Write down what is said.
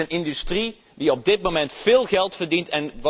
Het is een industrie die op dit moment veel geld verdient.